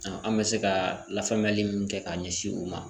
An an be se kaa lafaamuyali min kɛ k'a ɲɛsin u ma